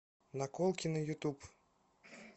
наколки на ютуб